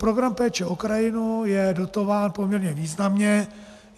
Program Péče o krajinu je dotován poměrně významně.